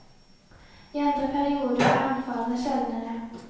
I andre perioder er anfallene sjeldnere.